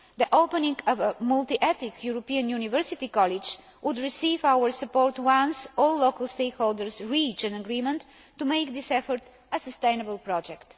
The opening of a multi ethnic European university college will receive our support once all local stakeholders reach an agreement to make this effort a sustainable project.